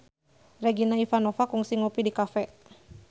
Regina Ivanova kungsi ngopi di cafe